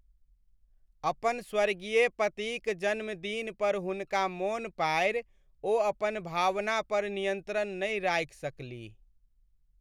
अपन स्वर्गीय पतिक जनमदिन पर हुनका मोन पाड़ि ओ अपन भावना पर नियन्त्रण नहि राखि सकलीह।